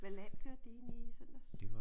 Hvad land kørte de egentligt i i søndags?